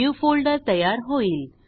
new folder तयार होईल